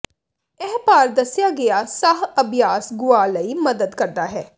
ਇਹ ਭਾਰ ਦੱਸਿਆ ਗਿਆ ਸਾਹ ਅਭਿਆਸ ਗੁਆ ਲਈ ਮਦਦ ਕਰਦਾ ਹੈ